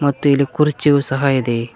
ತ್ತು ಇಲ್ಲಿ ಕುರ್ಚಿಯು ಸಹ ಇದೆ.